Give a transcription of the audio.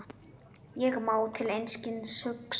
Ég má til einskis hugsa.